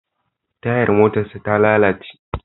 Tayar motarsa ta lalace.